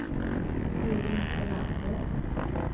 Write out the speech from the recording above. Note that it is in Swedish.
Edvin Sjölander